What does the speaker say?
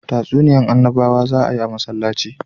Tatsuniyan annabawa za a yi a masallaci